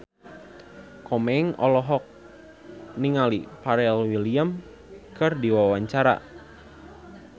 Komeng olohok ningali Pharrell Williams keur diwawancara